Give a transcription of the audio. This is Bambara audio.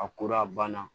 A kora a banna